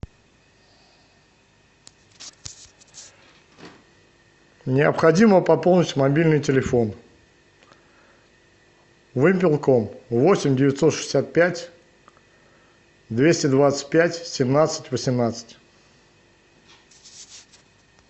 необходимо пополнить мобильный телефон вымпелком восемь девятьсот шестьдесят пять двести двадцать пять семнадцать восемнадцать